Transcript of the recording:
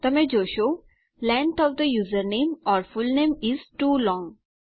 તમે જોશો length of the username or full name is too long